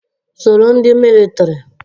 Soro ndị militiri!